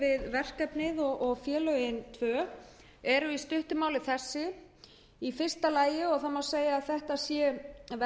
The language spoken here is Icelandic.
verkefnið og félögin tvö eru í stuttu máli þessi í fyrsta lagi og það má segja að þetta sé verðmerkti